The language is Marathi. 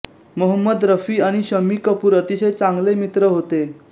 मोहम्मद रफी आणि शम्मी कपूर अतिशय चांगले मित्र होते